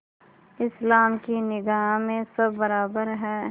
इस्लाम की निगाह में सब बराबर हैं